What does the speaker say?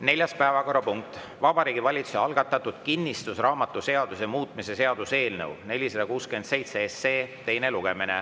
Neljas päevakorrapunkt on Vabariigi Valitsuse algatatud kinnistusraamatuseaduse muutmise seaduse eelnõu 467 teine lugemine.